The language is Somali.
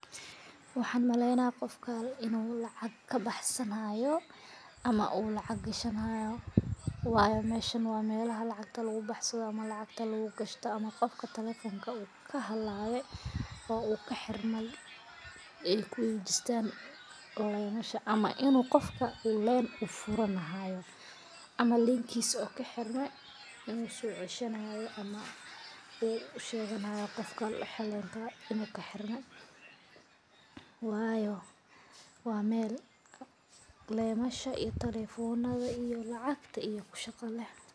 Waxan malena gofkan inu lacag kabaxsan xayo ama u lacag gashan xayo, meshan wa melaxa lacagta lagubaxsado ama lacagta lagashto, ama gofka talephona okaxalabe, oo u kaxirmay ey kuxagajistan, waye meshan ama inu gofka line ufurani xayo, ama line kisa ukaxirme ama socesheni xayo, ama ushegani xayo gofka inukaxirmo, wayo wa mel limasha iyo talephonada iyo lacagta.